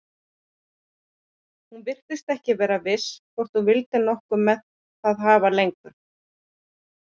Hún virtist ekki vera viss hvort hún vildi nokkuð með það hafa lengur.